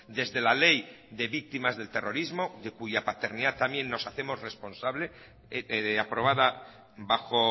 desde la ley de víctimas del terrorismo de cuya paternidad también nos hacemos responsable aprobada bajo